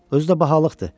Özü də bahalıqdır.